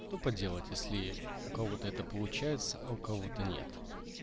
что поделать если у кого-то это получается а у кого-то нет